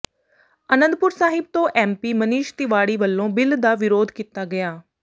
ਅਨੰਦਪੁਰ ਸਾਹਿਬ ਤੋਂ ਐਮਪੀ ਮਨੀਸ਼ ਤਿਵਾੜੀ ਵੱਲੋਂ ਬਿੱਲ ਦਾ ਵਿਰੋਧ ਕੀਤਾ ਗਿਆ